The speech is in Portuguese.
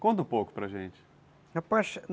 Conta um pouco para a gente